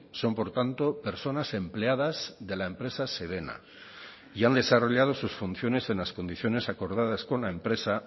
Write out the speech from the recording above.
son por tanto personas empleadas de la empresa sedena y han desarrollado sus funciones en las condiciones acordadas con la empresa